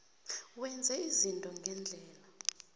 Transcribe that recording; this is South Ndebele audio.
wenze izinto ngendlela